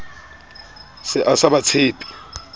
se a sa ba tshepe